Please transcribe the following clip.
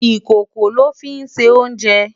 Ikókó lò fi nsé oùnjè